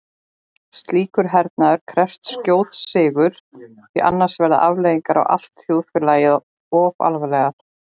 Slíkur hernaður krefst skjóts sigurs því annars verða afleiðingarnar á allt þjóðfélagið of alvarlegar.